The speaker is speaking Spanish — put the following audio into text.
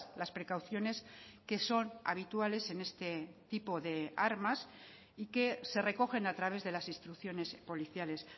las precauciones que son habituales en este tipo de armas y que se recogen a través de las instrucciones policiales